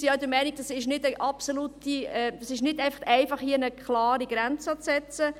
Wir sind der Meinung, es ist nicht einfach, hier eine klare Grenze zu setzen.